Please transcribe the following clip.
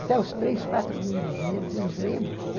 Até os três, quatro primeiros meses, eu enjoei muito.